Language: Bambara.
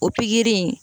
O pikiri in